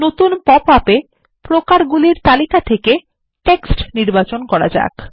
নতুন পপআপ এ প্রকারগুলির তালিকা থাকে টেক্সট নির্বাচন করা যাক